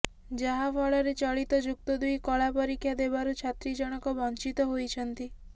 ଯାହାଫଳରେ ଚଳିତ ଯୁକ୍ତ ଦୁଇ କଳା ପରୀକ୍ଷା ଦେବାରୁ ଛାତ୍ରୀ ଜଣକ ବଞ୍ଚିତ ହୋଇଛନ୍ତି